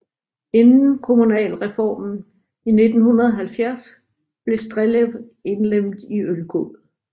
Inden kommunalreformen i 1970 blev Strellev indlemmet i Ølgod